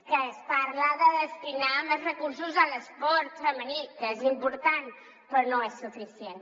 que es parla de destinar més recursos a l’esport femení que és important però no és suficient